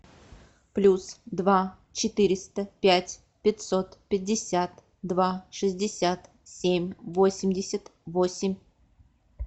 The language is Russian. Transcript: плюс два четыреста пять пятьсот пятьдесят два шестьдесят семь восемьдесят восемь